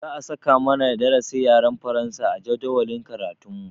Za a saka mana darasin yaren faransa a jadawalin karatun mu